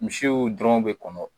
Misiw dɔrɔn bɛ kɔnɔ.